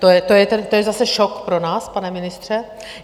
To je zase šok pro nás, pane ministře.